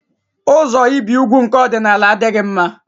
Ụzọ ibi úgwù nke ọdịnala adịghị mma.